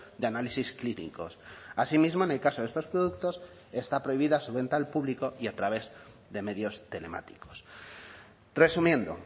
de análisis clínicos así mismo en el caso de estos productos está prohibida su venta al público y a través de medios telemáticos resumiendo